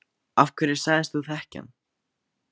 Af hverju sagðist þú þekkja hann?